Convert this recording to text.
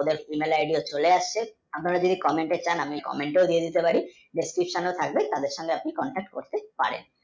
ওদের mail, id তে চলে আসবেন ওদের communication আমি comment ও দিতে পারি description থাকবে তাদের সঙ্গে আপনারা contact করতে পারেন